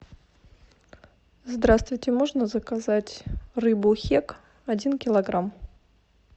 здравствуйте можно заказать рыбу хек один килограмм